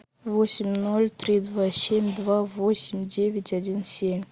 восемь ноль три два семь два восемь девять один семь